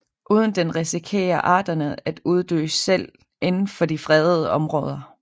Uden den risikerer arterne at uddø selv inden for de fredede områder